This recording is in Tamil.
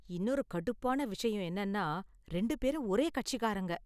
இன்னொரு கடுப்பான விஷயம் என்னன்னா, ரெண்டு பேரும் ஒரே கட்சிக்காரங்க.